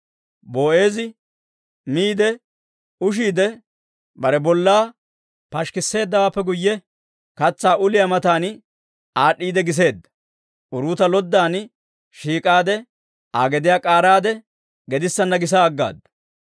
Boo'eezi miide ushidde bare bollaa pashikkiseeddawaappe guyye, katsaa uliyaa matan aad'd'iide giseedda. Uruuta loddan shiik'ade, Aa gediyaa k'aaraade, gedissanna gisa aggaaddu.